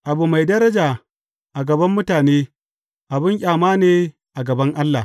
Abu mai daraja a gaban mutane, abin ƙyama ne a gaban Allah.